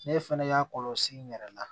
Ne fɛnɛ y'a kɔlɔsi n yɛrɛ la